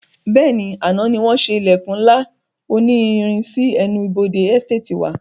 Bẹ́ẹ̀ni, àná ni wọn ṣe ilẹkun ńlá òní irin sì ẹnu ibodè Ẹsteetì wa.